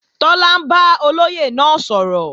Tọ́lá ń bá olóyè náà sọ̀rọ̀